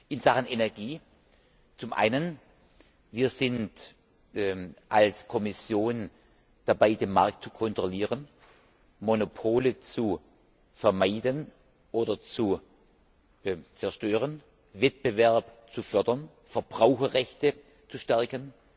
In Sachen Energie Zum einen sind wir als Kommission dabei, den Markt zu kontrollieren, Monopole zu vermeiden oder zu zerstören, Wettbewerb zu fördern, Verbraucherrechte zu stärken.